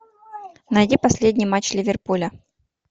найди последний матч ливерпуля